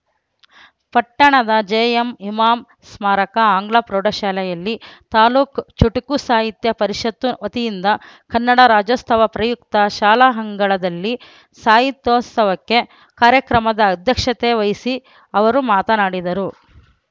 ಪಟ್ಟಣದ ಜೆಎಂ ಇಮಾಂ ಸ್ಮಾರಕ ಆಂಗ್ಲ ಪ್ರೌಢಶಾಲೆಯಲ್ಲಿ ತಾಲೂಕ್ ಚುಟುಕು ಸಾಹಿತ್ಯ ಪರಿಷತ್ತು ವತಿಯಿಂದ ಕನ್ನಡ ರಾಜ್ಯೋತ್ಸವ ಪ್ರಯುಕ್ತ ಶಾಲಾ ಅಂಗಳದಲ್ಲಿ ಸಾಹಿತ್ಯೋತ್ಸವ ಕಾರ್ಯಕ್ರಮದ ಅಧ್ಯಕ್ಷತೆ ವಹಿಸಿ ಅವರು ಮಾತನಾಡಿದರು